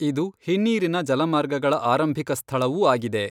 ಇದು ಹಿನ್ನೀರಿನ ಜಲಮಾರ್ಗಗಳ ಆರಂಭಿಕ ಸ್ಥಳವೂ ಆಗಿದೆ.